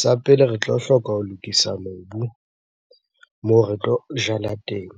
Sa pele, re tlo hloka ho lokisa mobu moo re tlo jala teng.